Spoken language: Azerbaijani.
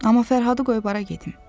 Amma Fərhadı qoyub hara gedim?